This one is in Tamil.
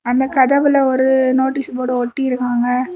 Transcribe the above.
அந்தக் கதவுல ஒரு நோட்டீஸ் போர்டு ஒட்டி இருக்குங்க.